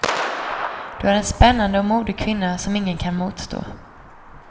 Du är en spännande och modig kvinna som ingen kan motstå.